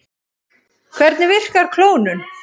Hvernig virkar klónun?